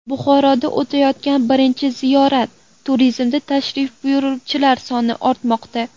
Buxoroda o‘tayotgan birinchi ziyorat turizmida tashrif buyuruvchilar soni ortmoqda.